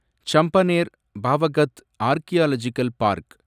Champaner Pavagadh archaeological park